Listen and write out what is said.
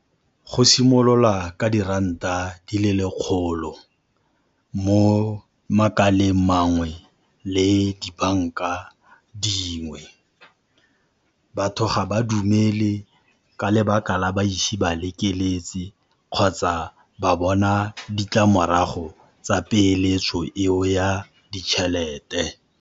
Go simolola ka diranta di le lekgolo mo makaleng mangwe le dibanka dingwe. Batho ga ba dumele ka lebaka la ba ise ba lekeletse kgotsa ba bona ditlamorago tsa peeletso eo ya ditjhelete.